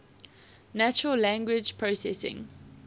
natural language processing